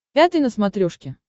пятый на смотрешке